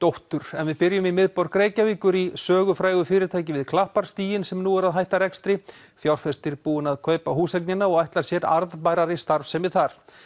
en við byrjum í miðborg Reykjavíkur í sögufrægu fyrirtæki við Klapparstíginn sem nú er að hætta rekstri fjárfestir búinn að kaupa húseignina og ætlar sér arðbærari starfsemi þar